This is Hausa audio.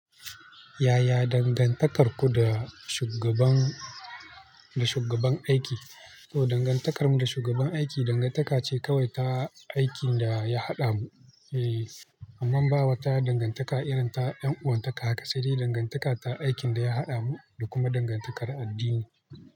Ya ya dangantakar ku da shugaban aiki? To dangantakar mu da shugaban aiki dangantaka ce kawai ta aikin da ya haɗa mu, amma ba wata dangantaka irin ta ƴan'uwan taka haka, sai dai dangantaka ta aikin da ya haɗamu da kuma dangantakar addini.